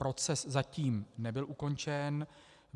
Proces zatím nebyl ukončen.